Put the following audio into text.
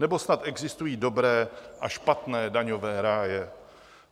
Nebo snad existují dobré a špatné daňové ráje?